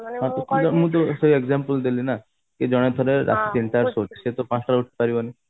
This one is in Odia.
ସେଇ example ଦେଲି ନା କି ଜଣେ ଧର ରାତି ତିନିଟାରେ ଶୋଉଛି ସେ ତ ପାଞ୍ଚଟା ରେ ଉଠି ପାରିବନି